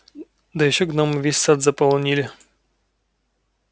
да ещё гномы весь сад заполонили